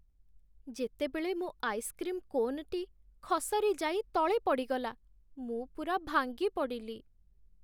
ଯେତେବେଳେ ମୋ ଆଇସ୍କ୍ରିମ୍ କୋନ୍‌ଟି ଖସରି ଯାଇ ତଳେ ପଡ଼ିଗଲା ମୁଁ ପୂରା ଭାଙ୍ଗିପଡ଼ିଲି।